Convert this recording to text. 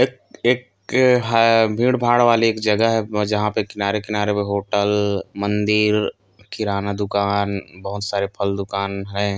एक एक हाय भीड़ भाड़ वाली एक जगह है जहाँ पे किनारे-किनारे होटल मंदिर किराना दुकान बहोत सारे फल दुकान है।